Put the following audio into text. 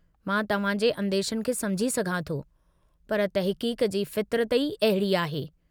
मां तव्हांजे अंदेशनि खे समुझी सघां थो पर तहक़ीक़ जी फ़ितरत ई अहिड़ी आहे।